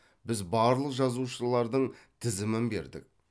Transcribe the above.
біз барлық жазушылардың тізімін бердік